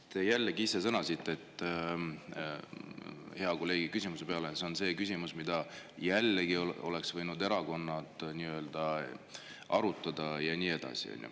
No te jällegi ise sõnasite hea kolleegi küsimuse peale, et see on küsimus, mida jällegi oleks võinud erakonnad arutada, ja nii edasi.